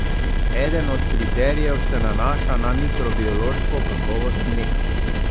Eden od kriterijev se nanaša na mikrobiološko kakovost mleka.